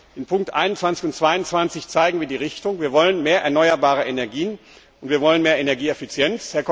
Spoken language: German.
In Ziffer 21 und 22 zeigen wir die Richtung Wir wollen mehr erneuerbare Energien und mehr Energieeffizienz.